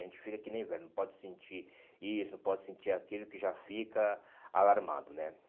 A gente fica que nem velho, não pode sentir isso, não pode sentir aquilo que já fica alarmado, né?